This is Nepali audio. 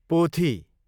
पोथी